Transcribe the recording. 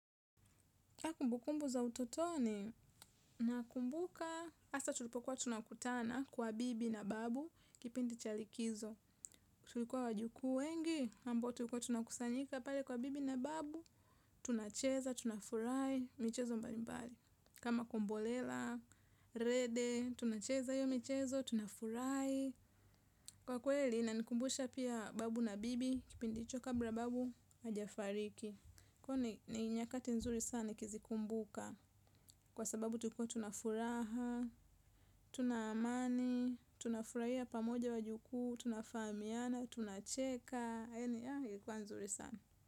Kumbukumbu za utotoni na kumbuka, hasa tulipokuwa tunakutana kwa bibi na babu, kipindi cha likizo. Tulikuwa wajukuu wengi, ambao tulikua tunakusanyika pale kwa bibi na babu, tunacheza, tunafurahi, michezo mbali mbali. Kama kombolela, rede, tunacheza hiyo michezo, tunafurahi. Kwa kweli, inanikumbusha pia babu na bibi, kipindi hicho kabla babu, hajafariki. Kwani ni nyakati nzuri sana kizi kumbuka. Kwasababu tulikua tunafuraha, tuna amani, tunafurahia pamoja wajuku, tunafahamiana, tunacheka, yani ah ilikua nzuri sana.